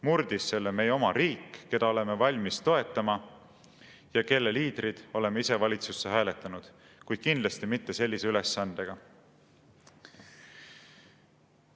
Murdis selle meie oma riik, keda oleme valmis toetama ja kelle liidrid oleme ise valitsusse hääletanud, kuid kindlasti mitte sellise ülesandega.